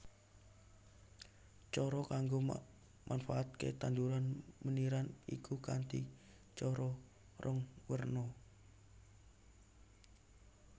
Cara kanggo manfaatakè tanduran meniran iku kanthi cara rong werna